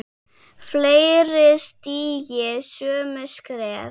Fleiri stígi sömu skref?